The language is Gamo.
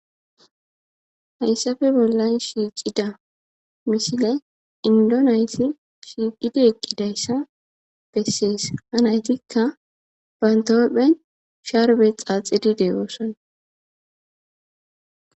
Hayssafe bollan shiiqida misile indi nayti shiiqidi eqqidayssa bessees. Ha naytikka banta huphen sharbe xaaxidi de'oosona.